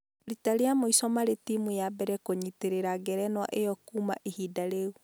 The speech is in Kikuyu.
Rita rĩa mũico marĩ timũ ya mbere kũnyitĩrĩra ngerenwa ĩyo kuuma ihinda rĩu